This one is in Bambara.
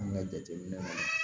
An ka jateminɛw la